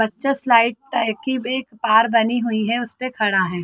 बच्चा slide type की एक तार बनी हुई है उस पे खड़ा है।